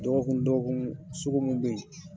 Dɔgɔkun dɔgɔkun sugu mun bɛ ye.